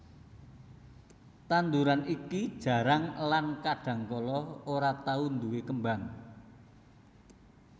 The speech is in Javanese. Tanduran iki jarang lan kadangkala ora tau nduwé kembang